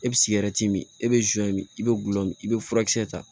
E bɛ sigɛrɛti min e bɛ min i bɛ gulɔ min i bɛ furakisɛ ta